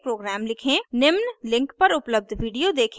निम्न link पर उपलब्ध video देखें